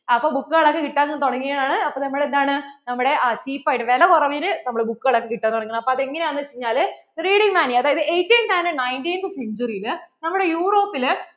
അപ്പോൾ book കൾ ഒക്കെ കിട്ടാൻ തുടങ്ങിയത് ആണ് അപ്പോൾ നമ്മൾ എന്താണ് നമ്മടെ cheap ആയിട്ട് വില കുറവിൽ നമ്മടെ book കൾ ഒക്കെ കിട്ടാൻ തുടങ്ങി അപ്പോൾ അത് എങ്ങനെ ആണന്നു വെച്ച് കഴിഞ്ഞാൽ reading maniaeighteenth and nineteenth century യിൽ നമ്മടെ Europe ൽ